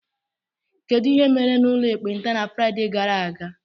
Kedu ihe mere n'ụlọ ekpenta na Fraịde gara aga?